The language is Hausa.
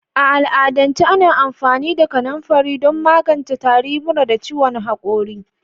A al'adance ana amfani da kanafari don magance tari, mura, da ciwon hakori.